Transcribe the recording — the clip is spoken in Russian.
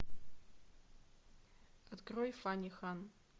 открой фани хан